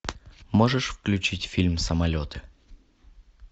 можешь включить фильм самолеты